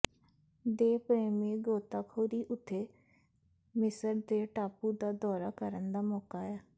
ਦੇ ਪ੍ਰੇਮੀ ਗੋਤਾਖੋਰੀ ਉਥੇ ਮਿਸਰ ਦੇ ਟਾਪੂ ਦਾ ਦੌਰਾ ਕਰਨ ਦਾ ਮੌਕਾ ਹੈ